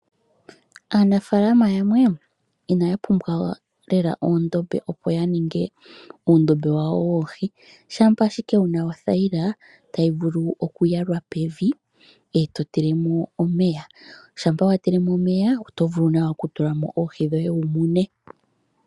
Aanafaalama yamwe inaya pumbwa lela oondombe opo yaninge uundombe wawo woohi shampa ashike wuna othayila tayi vulu okuyalwa pevi eto tilemo omeya. Shampa watilemo omeya oto vulu nawa okutulamo oohi dhoye wumune.